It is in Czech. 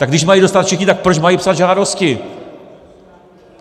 Tak když mají dostat všichni, tak proč mají psát žádosti?